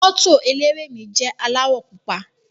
Moto eléré mi jẹ aláwọ̀ pupa.